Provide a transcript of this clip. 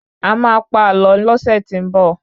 A máa pa àlọ lọ́sẹ̀ tí n bọ̀